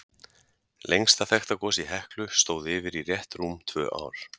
Lengsta þekkta gos í Heklu stóð yfir í rétt rúm tvö ár.